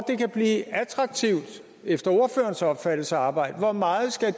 det efter ordførerens opfattelse at arbejde hvor meget skal